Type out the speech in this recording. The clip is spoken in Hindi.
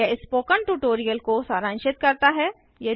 यह स्पोकन ट्यूटोरियल को सारांशित करता है